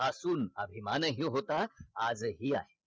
आतून अभिमानही होता आजही आहे